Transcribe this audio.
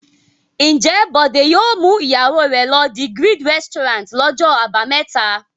Ǹjẹ́ Bọ̀dé yóò mú ìyàwó rẹ̀ lọ The Grid restaurant lọ́jọ́ àbámẹ́ta?